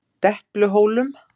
Depluhólum